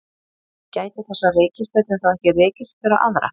gætu þessar reikistjörnur þá ekki rekist hver á aðra